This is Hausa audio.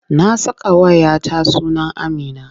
Na sakawa 'ya ta suna Amina.